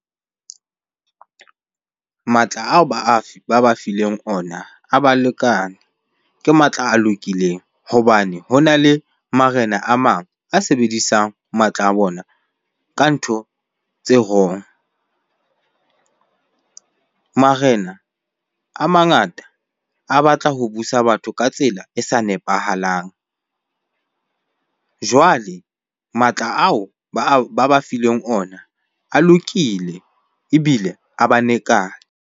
Matla ao ba ba fileng ona a ba lekane. Ke matla a lokileng hobane hona le marena a mang a sebedisang matla a bona ka ntho tse wrong. Marena a mangata a batla ho busa batho ka tsela e sa nepahalang. Jwale matla ao ba ba fileng ona a lokile ebile a ba lekane.